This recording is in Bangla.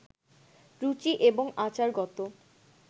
রুচি এবং আচারগত